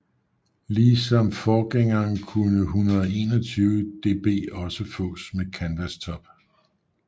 Ligesom forgængeren kunne 121 DB også fås med Canvas Top